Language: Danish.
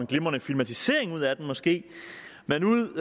glimrende filmatisering ud af den måske men ud